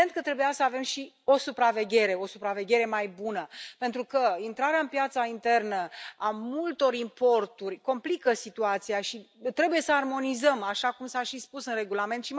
Evident că trebuia să avem și o supraveghere, o supraveghere mai bună, pentru că intrarea în piața internă a multor importuri complică situația și trebuie să armonizăm, așa cum s a și spus în regulament.